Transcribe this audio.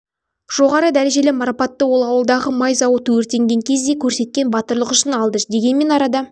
жоғары дәрежелі марапатты ол ауылдағы май зауыты өртенген кезде көрсеткен батырлығы үшін алды дегенмен арада